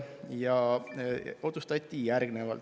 Ja otsustati järgnevat.